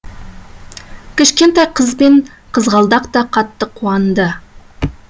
кішкентай қыз бен қызғалдақ та қатты қуанды